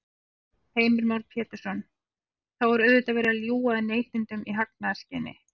Heimir Már Pétursson: Þá er auðvitað verið að ljúga að neytendum í hagnaðarskyni?